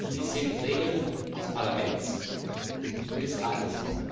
Dies sind Regeln des Parlaments und des Rates.